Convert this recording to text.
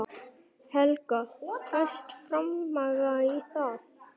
Helga: Fæst fjármagn í það?